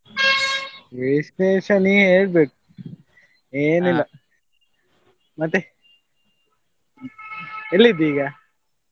ವಿಶೇಷ ನಿ ಹೇಳ್ಬೇಕು ಮತ್ತೆ ಎಲ್ಲಿದ್ದಿ ಈಗ?